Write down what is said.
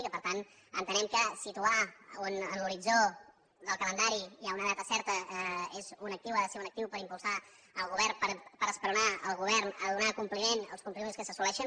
i que per tant entenem que situar en l’horitzó del calendari ja una data certa és un actiu ha de ser un actiu per impulsar el govern per esperonar el govern a donar compliment als compromisos que s’assoleixen